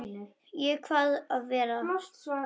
Ég kvað svo vera.